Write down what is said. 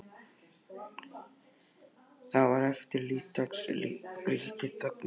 Það sem eftir lifði dags ríkti þögn á heimilinu.